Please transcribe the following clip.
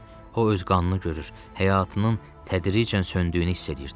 O öz qanını görür, həyatının tədricən söndüyünü hiss eləyirdi.